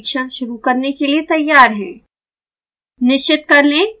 अब हम अपना परिक्षण शुरू करने के लिए तैयार हैं